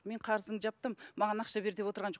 мен қарызыңды жаптым маған ақша бер деп отырған жоқ